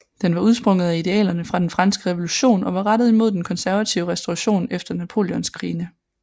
Den var udsprunget af idealerne fra den franske revolution og var rettet imod den konservative restauration efter Napoleonskrigene